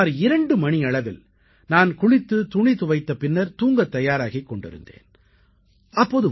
சுமார் 2 மணியளவில் நான் குளித்துத் துணி துவைத்த பின்னர் தூங்கத் தயாராகிக் கொண்டிருந்தேன்